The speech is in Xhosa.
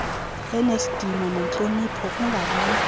enesidima nentlonipho kungabikho